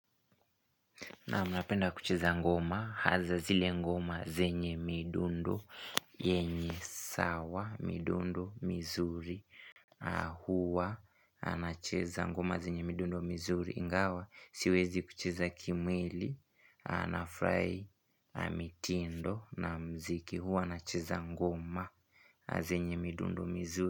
Naam napenda kucheza ngoma, haza zile ngoma zenye midundo, yenye sawa, midundo, mizuri, huwa nacheza ngoma zenye midundo, mizuri, ingawa, siwezi kucheza kimwili, nafurahi mitindo na mziki, huwa nacheza ngoma zenye midundo, mizuri.